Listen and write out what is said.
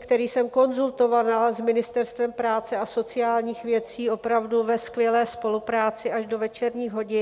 který jsem konzultovala s Ministerstvem práce a sociálních věcí opravdu ve skvělé spolupráci až do večerních hodin.